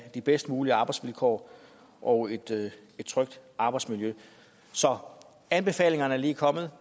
de bedst mulige arbejdsvilkår og et trygt arbejdsmiljø anbefalingerne er lige kommet